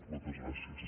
moltes gràcies